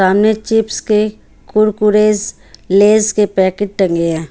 सामने चिप्स के कुरकुरेस लेज के पैकेट टंगे हैं।